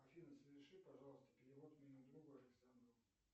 афина соверши пожалуйста перевод моему другу александру